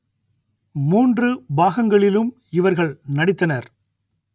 மூன்று பாகங்களிலும் இவர்கள் நடித்தனர்